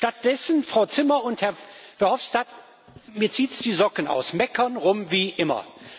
Stattdessen Frau Zimmer und Herr Verhofstadt mir zieht es die Socken aus meckern herum wie immer.